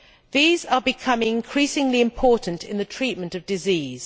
These are becoming increasingly important in the treatment of disease.